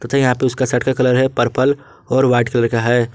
यहां पे उसका शट का कलर है पर्पल और वाइट कलर का है।